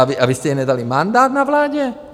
A vy jste jí nedali mandát na vládě?